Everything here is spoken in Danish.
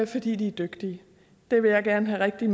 fordi de er dygtige det vil jeg gerne have rigtig